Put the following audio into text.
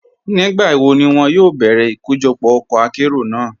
Nígbàwó ni wọn yóò bẹ̀rẹ́ ikọ́jọpọ́ ọkọ àkéró náà?